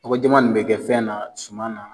Nɔgɔ jaman de be kɛ fɛn na ,suman na.